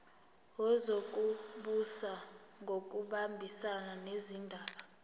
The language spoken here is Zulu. wezokubusa ngokubambisana nezindaba